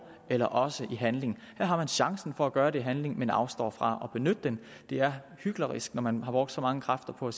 eller også i handling her har man chancen for at gøre det i handling men afstår fra at benytte den det er hyklerisk når man har brugt så mange kræfter på at